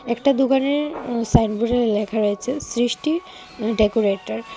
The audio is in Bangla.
একটা দোকানের আঃ সাইনবোর্ডে লেখা রয়েছে সৃষ্টি আঃ ডেকোরেটার .